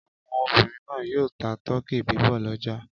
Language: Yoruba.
Àwọn obìnrin náà yóò ta tọkí bíbọ̀ lọ́jà.